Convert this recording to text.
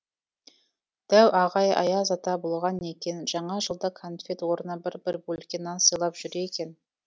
дәу ағай аяз ата болған екен жаңа жылда конфет орнына бір бір бөлке нан сыйлап жүр екен